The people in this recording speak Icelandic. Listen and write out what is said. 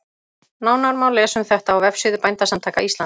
Nánar má lesa um þetta á vefsíðu Bændasamtaka Íslands.